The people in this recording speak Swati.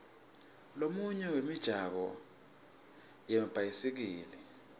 lomunye wemijaho yemabhayisikili